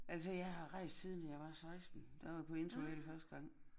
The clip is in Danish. Altså jeg har rejst siden jeg var 16 der var jeg på interrail første gang